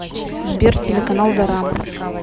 сбер телеканал дорама